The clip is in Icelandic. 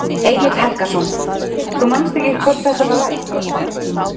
Egill Helgason: Þú manst ekki hvort þetta var rætt?